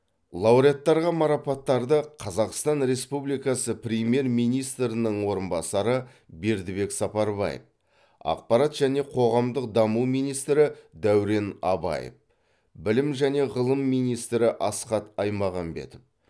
лауреаттарға марапаттарды қазақстан республикасы премьер министрінің орынбасары бердібек сапарбаев ақпарат және қоғамдық даму министрі дәурен абаев білім және ғылым министрі асхат аймағамбетов